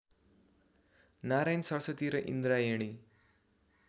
नारायण सरस्वती र इन्द्रायणी